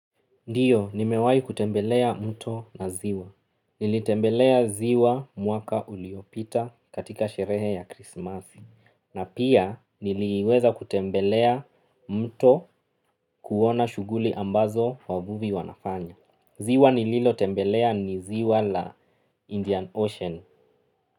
Ndio, nimewahi kutembelea mto na ziwa. Nili tembelea ziwa mwaka uliopita katika sherehe ya krisimasi. Na pia, niliweza kutembelea mto kuwona shuguli ambazo wavuvi wanafanya. Ziwa nililo tembelea ni ziwa la Indian Ocean.